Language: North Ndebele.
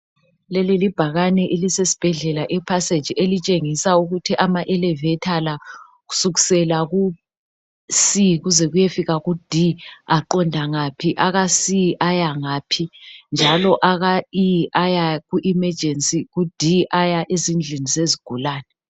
leli libhakane elisesibhedlela e passage elitshengisa ukuthi ama elevator la kusukusela ku c kuze kuyefika ku D aqonda ngaphi aka c ayangaphi njalo aka E aya ku emergency njalo ku D aya ezindlini zezigulani